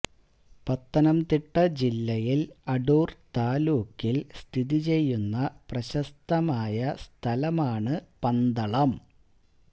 പത്തനംതിട്ട ജില്ലയിൽ അടൂർ താലൂക്കിൽ സ്ഥിതി ചെയ്യുന്ന പ്രശസ്തമായ സ്ഥലമാണ് പന്തളം